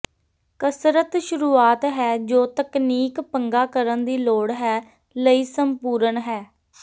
ਕਸਰਤ ਸ਼ੁਰੂਆਤ ਹੈ ਜੋ ਤਕਨੀਕ ਪੰਗਾ ਕਰਨ ਦੀ ਲੋੜ ਹੈ ਲਈ ਸੰਪੂਰਣ ਹੈ